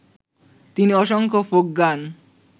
তিনি অসংখ্য ফোক গান